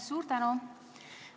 Suur tänu!